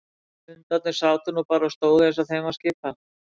Hundarnir sátu nú bara og stóðu eins og þeim var skipað.